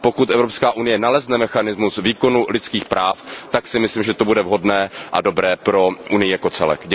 Ale pokud Evropská unie nalezne mechanismus výkonu lidských práv, tak si myslím, že to bude vhodné a dobré pro Unii jako celek.